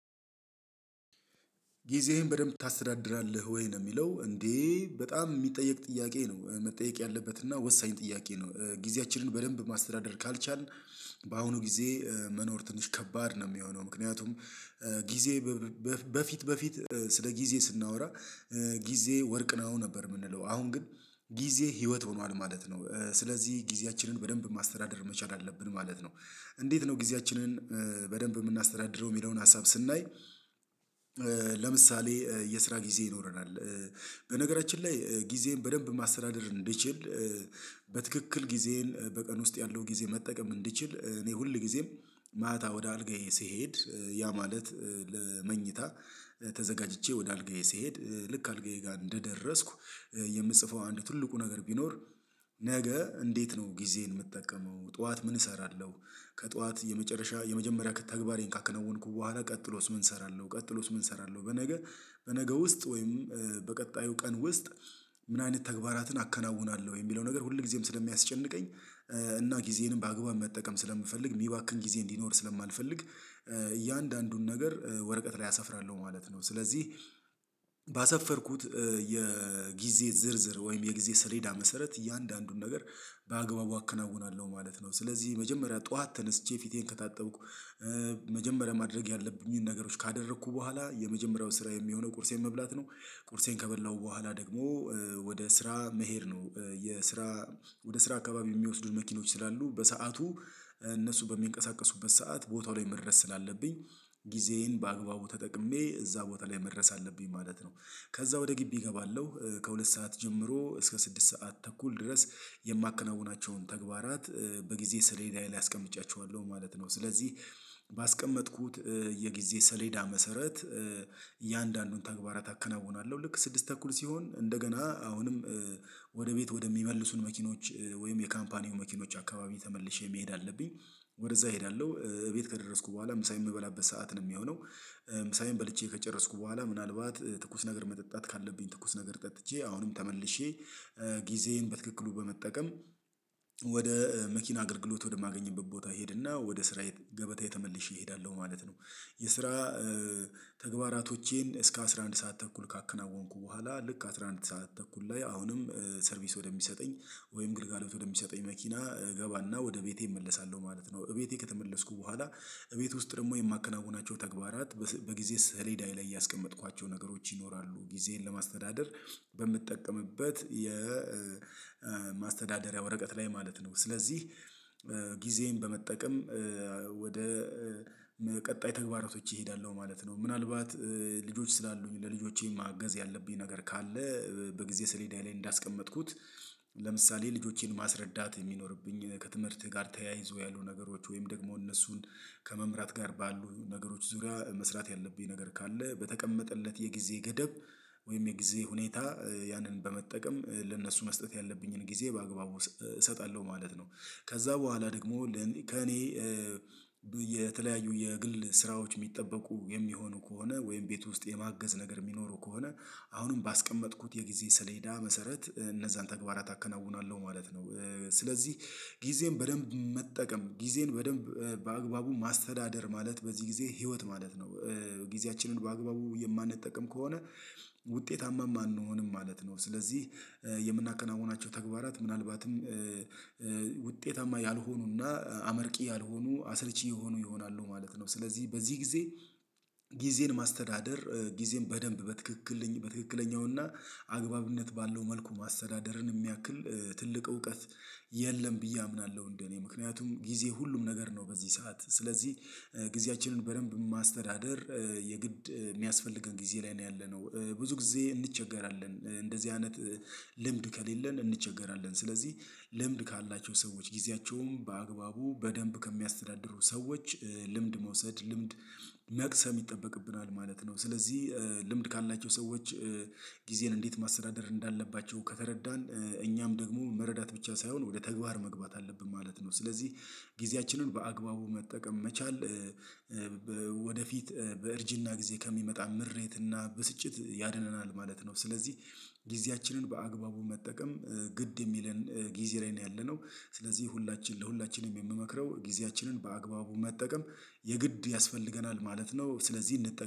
ጊዜህን በደንብ ታስተዳድራለህ ወይ? ነው የሚለው እንዴ በጣም የሚጠየቅ ጥያቄ ነው መጠየቅ ያለበት እና ወሳኝ ጥያቄ ነው። ጊዜያችንን በደንብ ማስተዳደር ካልቻልን በአሁኑ ጊዜ መኖር ትንሽ ከባድ ነው። የሚሆነው ምክንያቱም ጊዜ በፊት በፊት ስለ ጊዜ ስናወራ ጊዜ ወርቅ ነው ነበር የምንለው አሁን ግን ጊዜ ህይወት ሆኗል ማለት ነው። ስለዚህ ጊዜያችንን በደንብ ማስተዳደር መቻል አለብን ማለት ነው። እንዴት ነው ጊዜያችንን በደንብ የምናስተዳድረው የሚለውን ሀሳብ ስናይ። ለምሳሌ የስራ ጊዜ ይኖረናል በነገራችን ላይ ጊዜን በደንብ ማስተዳደር እንድችል እንድችል በትክክል ጊዜን በቀን ውስጥ ያለው ጊዜ መጠቀም እንድችል እኔ ሁል ጊዜም ማታ ወደ አልጋዬ ስሄድ ያ ማለት ለምኝታ ተዘጋጅቼ ወደ አልጋዬ ስሄድ ልክ አልጋዬ ጋር እንደደረስኩ የምትጽፈው አንዱ ትልቁ ነገር ቢኖር ነገ እንዴት ነው ጊዜን የምትጠቀመው ጠዋት ምን እሰራለሁ? ከጠዋት የመጨረሻ የመጀመሪያ ከተግባሬን ካከናወንኩ በኋላ ቀጥሎስ ምን እሰራለሁ ቀጥሎስ ምን እሰራለሁ? በነገ በነገ ውስጥ ወይም በቀጣዩ ቀን ውስጥ ምን አይነት ተግባራትን አከናውናለሁ የሚለው ነገር ሁል ጊዜም ስለሚያስጨንቀኝ። እና ጊዜንም በአግባብ መጠቀም ስለምፈልግ የሚባክን ጊዜ እንዲኖር ስለማልፈልግ እያንዳንዱን ነገር ወረቀት ላይ አሰፍራለሁ ማለት ነው። ስለዚህ ባሰፈርኩት የጊዜ ዝርዝር ወይም የጊዜ ሰሌዳ መሰረት እያንዳንዱን ነገር በአግባቡ አከናውናለሁ ማለት ነው። ስለዚህ መጀመሪያ ጠዋት ተነስቼ ፊቴን ከታጠብኩ መጀመሪያ ማድረግ ያለብኝን ነገሮች ካደረኩ በኋላ የመጀመሪያው ስራ የሚሆነው ቁርሴን መብላት ነው። ቁርሴን ከበላሁ በኋላ ደግሞ ወደ ስራ መሄድ ነው። የስራ ወደ ስራ አካባቢ የሚወስዱን መኪኖች ስላሉ በሰአቱ እነሱ በሚንቀሳቀሱበት ሰዓት ቦታው ላይ መድረስ ስላለብኝ ጊዜዬን በአግባቡ ተጠቅሜ እዛ ቦታ ላይ መድረስ አለብኝ ማለት ነው። ከዛ ወደ ግቢ እገባለሁ ከሁለት ሰዓት ጀምሮ እስከ ስድስት ሰዓት ተኩል ድረስ የማከናውናቸውን ተግባራት በጊዜ ስለሌላ ላይ አስቀምጫቸዋለሁ ማለት ነው። ስለዚህ ባስቀመጥኩት የጊዜ ሰሌዳ መሰረት እያንዳንዱን ተግባራት አከናውናለሁ ልክ ስድስት ተኩል ሲሆን እንደገና አሁንም ወደ ቤት ወደሚመልሱን መኪኖች ወይም የካምፓኒው መኪኖች አካባቢ ተመልሼ መሄድ አለብኝ። ወደዛ እሄዳለሁ እቤት ከደረስኩ በኋላ ምሳዬን የምበላበት ሰዓት ነው የሚሆነው። ምሳዬን በልቼ ከጨረስኩ በኋላ ምናልባት ትኩስ ነገር መጠጣት ካለብኝ ትኩስ ነገር ጠጥቼ አሁንም ተመልሼ ጊዜዬን በትክክሉ በመጠቀም ወደ መኪና አገልግሎት ወደማገኝበት ቦታ ሄድና ወደ ስራየ ገበታ ተመለሽ እሄዳለሁ ማለት ነው። የስራ ተግባራቶቼን እስከ አስራ አንድ ሰዓት ተኩል ካከናወንኩ በኋላ ልክ አስራ አንድ ሰዓት ተኩል ላይ አሁንም ሰርቪስ ወደሚሰጠኝ ወይም ግልጋሎት ወደሚሰጠኝ መኪና እገባና ወደ ቤቴ እመለሳለሁ ማለት ነው። እቤቴ ከተመለስኩ በኋላ እቤት ውስጥ ደግሞ የማከናውናቸው ተግባራት በጊዜ ሰሌዳዬ ላይ ያስቀመጥኳቸው ነገሮች ይኖራሉ ጊዜን ለማስተዳደር በምትጠቀምበት የማስተዳደሪያ ወረቀት ላይ ማለት ነው። ስለዚህ ጊዜን በመጠቀም ወደ ቀጣይ ተግባራቶች እሄዳለሁ ማለት ነው። ምናልባት ልጆች ስላሉኝ ለልጆቼ ማገዝ ያለብኝ ነገር ካለ በጊዜ ስሌዳዬ ላይ እንዳስቀመጥኩት ለምሳሌ ልጆቼን ማስረዳት የሚኖርብኝ ከትምህርትህ ጋር ተያይዞ ያሉ ነገሮች ወይም ደግሞ እነሱን ከመምራት ጋር ባሉ ነገሮች ዙሪያ መስራት ያለብኝ ነገር ካለ በተቀመጠለት የጊዜ ገደብ ወይም የጊዜ ሁኔታ ያንን በመጠቀም ለእነሱ መስጠት ያለብኝን ጊዜ በአግባቡ እሰጣለሁ ማለት ነው። ከዛ በኋላ ደግሞ ከእኔ የተለያዩ የግል ስራዎች የሚጠበቁ የሚሆኑ ከሆነ ወይም ቤት ውስጥ የማገዝ ነገር የሚኖሩ ከሆነ አሁንም ባስቀመጥኩት የጊዜ ስለሄዳ መሰረት እነዛን ተግባራት አከናውናለሁ ማለት ነው። ስለዚህ ጊዜን በደንብ መጠቀም ጊዜን በደንብ በአግባቡ ማስተዳደር ማለት በዚህ ጊዜ ህይወት ማለት ነው። ጊዜያችንን በአግባቡ የማንጠቅም ከሆነ ውጤታማም አንሆንም ማለት ነው ስለዚህ የምናከናውናቸው ተግባራት ምናልባትም ውጤታማ ያልሆኑና አመርቂ ያልሆኑ አሰልቺ የሆኑ ይሆናሉ ማለት ነው። ስለዚህ በዚህ ጊዜ ጊዜን ማስተዳደር ጊዜን በደንብ በትክክል በትክክለኛውና አግባብነት ባለው መልኩ ማሰዳደርን የሚያክል ትልቅ እውቀት የለም ብዬ አምናለሁ። እንደኔ ምክንያቱም ጊዜ ሁሉም ነገር ነው በዚህ ሰዓት ስለዚህ ጊዜያችንን በደንብ ማስተዳደር የግድ የሚያስፈልገን ጊዜ ላይ ነው ያለነው ብዙ ጊዜ እንቸገራለን እንደዚህ አይነት ልምድ ከሌለን እንቸገራለን ስለዚህ ልምድ ካላቸው ሰዎች ጊዜያቸውም በአግባቡ በደንብ ከሚያስተዳድሩ ሰዎች ልምድ መውሰድ ልምድ መቅሰም ይጠበቅብናል ማለት ነው። ስለዚህ ልምድ ካላቸው ሰዎች ጊዜን እንዴት ማሰዳደር እንዳለባቸው ከተረዳን እኛም ደግሞ መረዳት ብቻ ሳይሆን ወደ ተግባር መግባት አለብን ማለት ነው። ስለዚህ ጊዜያችንን በአግባቡ መጠቀም መቻል ወደፊት በእርጅና ጊዜ ከሚመጣ ምሬትና ብስጭት ያድነናል ማለት ነው። ስለዚህ ጊዜያችንን በአግባቡ መጠቀም ግድ የሚለን ጊዜ ላይ ነው ያለነው ስለዚህ ሁላችን ለሁላችንም የምመክረው ጊዜያችንን በአግባቡ መጠቀም የግድ ያስፈልገናል ማለት ነው። ስለዚህ እንጠቀም